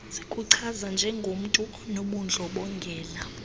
zikuchaza njengomntu onobundlobongela